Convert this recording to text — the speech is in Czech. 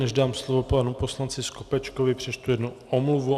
Než dám slovo panu poslanci Skopečkovi, přečtu jednu omluvu.